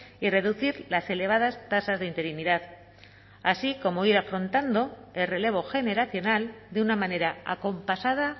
y reducir las elevadas tasas de interinidad así como ir afrontando el relevo generacional de una manera acompasada